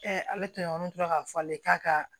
ale tun tora k'a fɔ ale k'a ka